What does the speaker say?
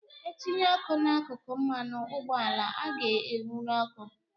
E tinye ọkụ n'akụkụ mmanụ ụgbọala ọ ga-ewụru oku